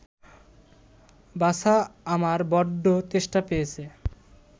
বাছা, আমার বড্ড তেষ্টা পেয়েছে